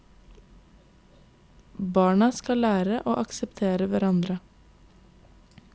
Barna skal lære å akseptere hverandre.